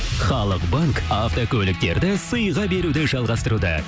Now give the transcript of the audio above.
халық банк автокөліктерді сыйға беруді жалғастыруда